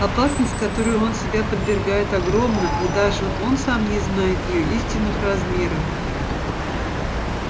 опасность которой он себя подвергает огромна и даже он сам не знает её истинных размеров